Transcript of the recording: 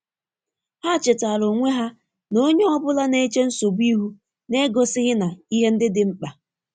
Ha chetaara onwe ha na onye ọ bụla na-eche nsogbu ihu na-egosighị na ihe ndị dị mkpa.